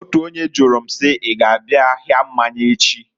Otu onye jụrụ m si, "I g'abịa ahịa mmanya echi?"